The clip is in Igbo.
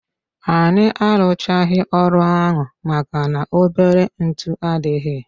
Anyị arụchaghi ọrụ ahụ maka na-obere ntụ adịghị.